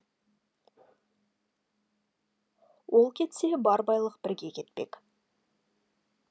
ол кетсе бар байлық бірге кетпек